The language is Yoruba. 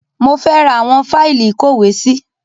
Mo fẹ́ ra àwọn fáìlì ìkówèésí